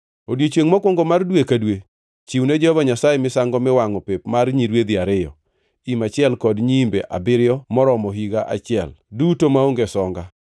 “ ‘Odiechiengʼ mokwongo mar dwe ka dwe, chiwne Jehova Nyasaye misango miwangʼo pep mar nyirwedhi ariyo, im achiel kod nyiimbe abiriyo moromo higa achiel, duto maonge songa.